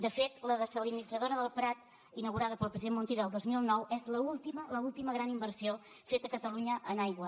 de fet la dessalinitzadora del prat inaugurada pel president montilla el dos mil nou és l’última l’última gran inversió feta a catalunya en aigua